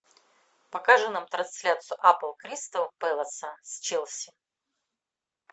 покажи нам трансляцию апл кристал пэласа с челси